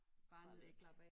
Bare ned og slappe af